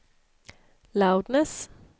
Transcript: loudness